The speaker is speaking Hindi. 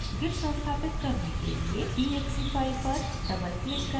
git संस्थापित करने के लिए exe file पर double click करें